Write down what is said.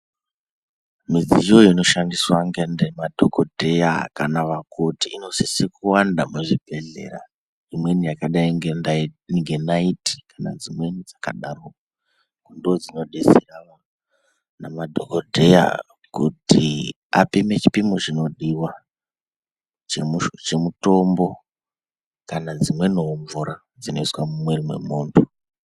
Midziyo ino shandiswa nge madhokodheya kana vakoti ino sise ku wanda mu zvibhedhlera imweni yakadai nge naiti kana dzimweni dzaka daro ndo dzino detsera vana madhokodheya kuti apime chipimo chino diwa che mutombo kana dzimweni wo mvura dzino iswa mu mwiri mwe muntu.